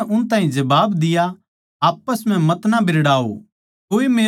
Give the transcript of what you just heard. यीशु नै उन ताहीं जबाब दिया आप्पस म्ह मतना बिरड़ाओ